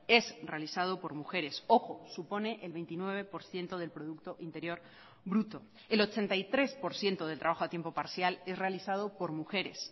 es realizado por mujeres ojo supone el veintinueve por ciento del producto interior bruto el ochenta y tres por ciento del trabajo a tiempo parcial es realizado por mujeres